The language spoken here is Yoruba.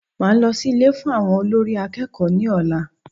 Màá lọ sí Ilé fún àwọn olórí akẹ́kọ̀ọ́ ní ọ̀la